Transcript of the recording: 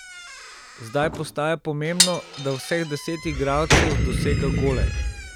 Zdaj postaja pomembno, da vseh deset igralcev dosega gole.